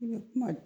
I bɛ kuma